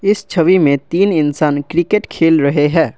इस छवि में तीन इंसान क्रिकेट खेल रहे हैं।